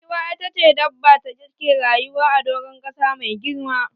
Giwa ita ce dabba dake rayuwa a doran kasa mafi girma